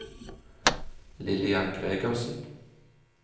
Lillian Gregersen